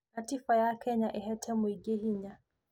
Gatiba ya Kenya ĩhete mũingĩ hinya.